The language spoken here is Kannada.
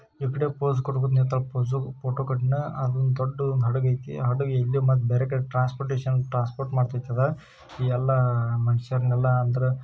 ಫೋಟೋಗೆ ಪೋಸ್ ದೊಡ್ಡ ಹಡಗು ಐತಿ ಹಡುಗ ಎಲ್ಲಾ ಟ್ರಾನ್ಸ್ಪೋರ್ಟಷನ್ ಟ್ರಾನ್ಸಪೊರ್ಟ ಮಾಡುತ್ತಾರೆ ಮನುಷ್ರನಲ್ .